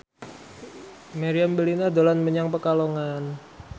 Meriam Bellina dolan menyang Pekalongan